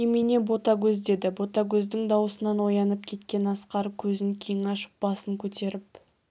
немене ботагөз деді ботагөздің дауысынан оянып кеткен асқар көзін кең ашып басын көтеріп